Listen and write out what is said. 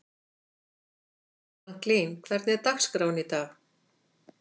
Franklin, hvernig er dagskráin í dag?